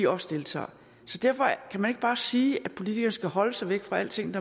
også deltager derfor kan man ikke bare sige at politikerne skal holde sig væk fra alting